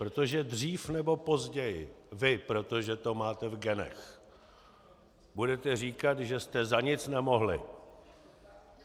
Protože dřív nebo později vy, protože to máte v genech, budete říkat, že jste za nic nemohli.